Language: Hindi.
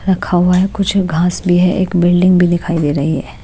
रखा हुआ है कुछ घास भी है एक बिल्डिंग भी दिखाई दे रही है।